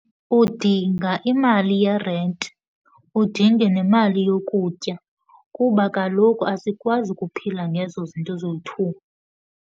Udinga imali yerenti, udinge nemali yokutya kuba kaloku asikwazi ukuphila ngezo zinto zoyi-two.